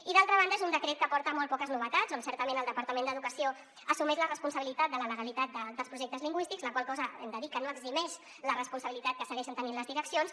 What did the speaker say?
i d’altra banda és un decret que aporta molt poques novetats en què certament el departament d’educació assumeix la responsabilitat de la legalitat dels projectes lingüístics la qual cosa hem de dir que no eximeix la responsabilitat que segueixen tenint les direccions